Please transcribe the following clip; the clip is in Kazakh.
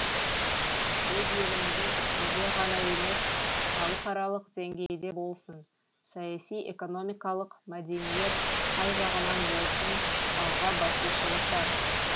өз еліміздің ішінде ғана емес халықаралық деңгейде болсын саяси экономикалық мәдениет қай жағынан болсын алға басушылық бар